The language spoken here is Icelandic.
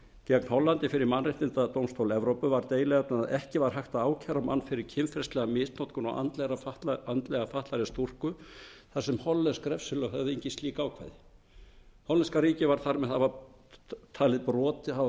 gegn hollandi fyrir mannréttindadómstól evrópu var deiluefnið að ekki var hægt að ákæra mann fyrir kynferðislega misnotkun á andlega fatlaðri stúlku þar sem hollensk refsilög höfðu engin slík ákvæði hollenska ríkið var þar með talið hafa